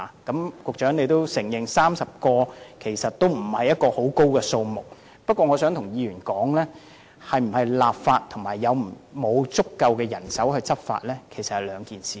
局長也承認30人不算多，但我想告訴議員，是否立法與是否有足夠人手執法事實上是兩回事。